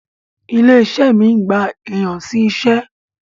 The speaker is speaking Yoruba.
Ilé-iṣé mi ń gba èèyan sí iṣẹ́.